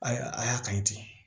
A y'a a y'a kanu ten